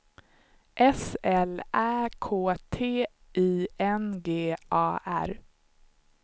S L Ä K T I N G A R